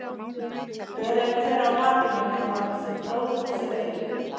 Ber er hver á bakinu nema sér bróðir sér eigi.